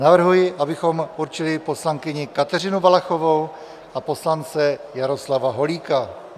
Navrhuji, abychom určili poslankyni Kateřinu Valachovou a poslance Jaroslava Holíka.